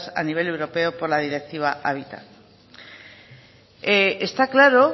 a nivel europeo por la directiva hábitat está claro